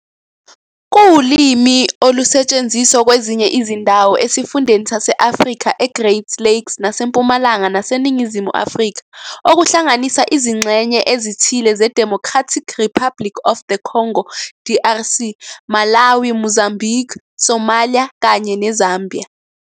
Kuwulimi olusetshenziswa kwezinye izindawo esifundeni sase-Afrika e-Great Lakes naseMpumalanga naseNingizimu Afrika, okuhlanganisa izingxenye ezithile zeDemocratic Republic of the Congo, DRC, Malawi, Mozambique, Somalia, kanye neZambia.